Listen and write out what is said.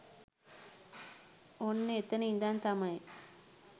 ඔන්න එතන ඉඳන් තමයි